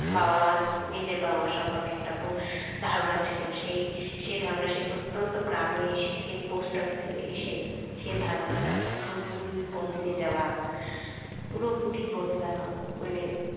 বাবা মা নিজের বাবা-মায়ের বো সম্পর্কে একটা ধারণা ছিল সেই ধারণা সে প্রত্যন্ত গ্রামে এসে সেই post office এ এসে সেই ধারণাটা পুরোপুরি বদলে যাওয়া পুরোপুরি বদলানো মানে